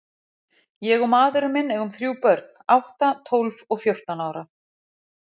Ég og maðurinn minn eigum þrjú börn, átta, tólf og fjórtán ára.